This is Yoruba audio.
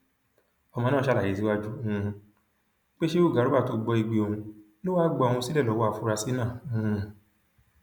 ọmọ náà ṣàlàyé síwájú um pé sheu garba tó gbọ igbe òun ló wáá gba òun sílẹ lọwọ àfúrásì náà um